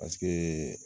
Paseke